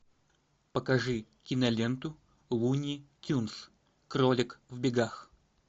покажи киноленту луни тюнз кролик в бегах